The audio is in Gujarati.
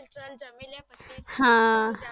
હા